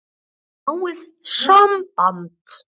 Er of náið samband?